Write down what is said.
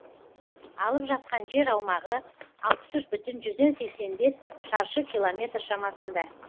алып жатқан жер аумағы алпыс үш бүтін жүзден сексен бес шаршы километр шамасында